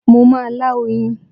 Mo má a lá oyin